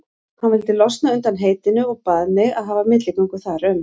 Hann vildi losna undan heitinu og bað mig að hafa milligöngu þar um.